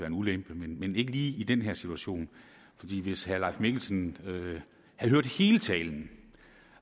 en ulempe men ikke lige i den her situation hvis herre leif mikkelsen havde hørt hele talen